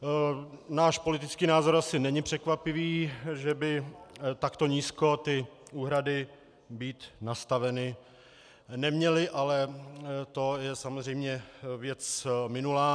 Náš politický názor asi není překvapivý, že by takto nízko ty úhrady být nastaveny neměly, ale to je samozřejmě věc minulá.